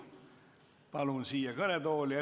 Palun siia kõnetooli!